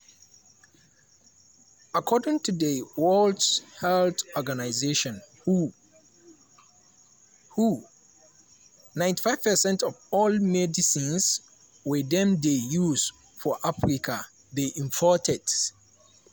according to di world health organization (who) (who) 95 percent of all medicines wey dem dey use for africa dey imported.